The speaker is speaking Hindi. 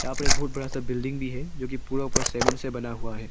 यहां पर एक बहुत बड़ा सा बिल्डिंग भी है जो कि पूरा पूरा सीमेंट से बना हुआ है।